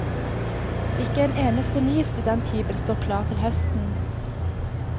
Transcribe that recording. Ikke en eneste ny studenthybel står klar til høsten.